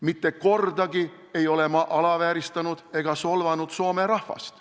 Mitte kordagi ei ole ma alavääristanud ega solvanud soome rahvast.